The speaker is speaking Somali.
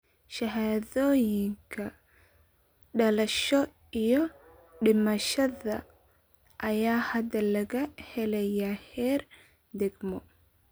Shahaadooyinka dhalashada iyo dhimashada ayaa hadda laga helayaa heer degmo.